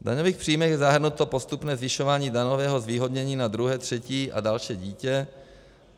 V daňových příjmech je zahrnuto postupné zvyšování daňového zvýhodnění na druhé, třetí a další dítě.